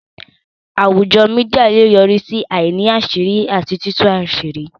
Àwùjọ Mídíà lè yọrí sí àìní àṣírí àti títú àṣírí